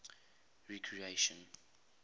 recreation